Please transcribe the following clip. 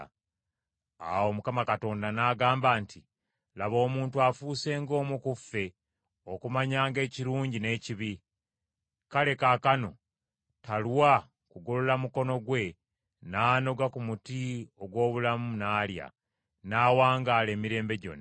Awo Mukama Katonda n’agamba nti, “Laba omuntu afuuse ng’omu ku ffe okumanyanga ekirungi n’ekibi; kale kaakano talwa kugolola mukono gwe n’anoga ku muti ogw’obulamu n’alya, n’awangaala emirembe gyonna.”